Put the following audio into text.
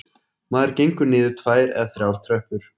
Maður gengur niður tvær eða þrjár tröppur